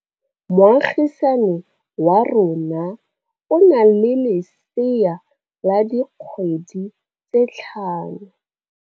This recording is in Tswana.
Moagisane wa rona o na le lesea la dikgwedi tse tlhano.